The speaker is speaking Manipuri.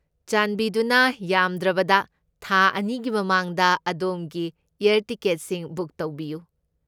ꯆꯥꯟꯕꯤꯗꯨꯅ ꯌꯥꯝꯗ꯭ꯔꯕꯗ ꯊꯥ ꯑꯅꯤꯒꯤ ꯃꯃꯥꯡꯗ ꯑꯗꯣꯝꯒꯤ ꯑꯦꯌꯔ ꯇꯤꯀꯦꯠꯁꯤꯡ ꯕꯨꯛ ꯇꯧꯕꯤꯌꯨ꯫